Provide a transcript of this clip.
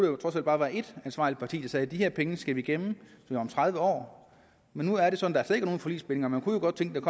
jo trods alt bare være et ansvarligt parti der sagde at de her penge skal vi gemme til om tredive år men nu er det sådan at der er nogen forligsbindinger man kunne jo godt tænke